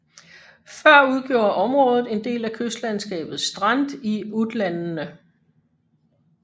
Før udgjorde området en del af kystlandskabet Strand i Utlandene